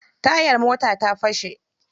Tayar motar ta fashe.